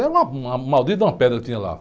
Era uma, uma, uma maldita pedra que tinha lá.